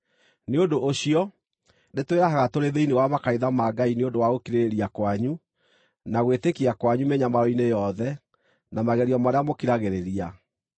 Nĩ ũndũ ũcio, nĩtwĩrahaga tũrĩ thĩinĩ wa makanitha ma Ngai nĩ ũndũ wa gũkirĩrĩria kwanyu, na gwĩtĩkia kwanyu mĩnyamaro-inĩ yothe na magerio marĩa mũkiragĩrĩria.